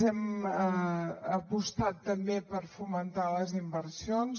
hem apostat també per fomentar les inversions